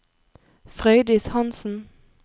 Frøydis Hansen